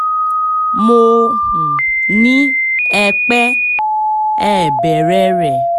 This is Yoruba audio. mo um ní ẹ pẹ́ ẹ ẹ̀ bẹ̀rẹ̀ rẹ̀